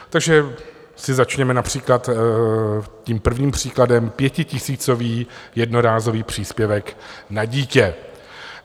Takže si začněme například tím prvním příkladem - pětitisícový jednorázový příspěvek na dítě.